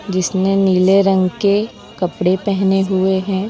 जिसने नीले रंग के कपड़े पहने हुए हैं।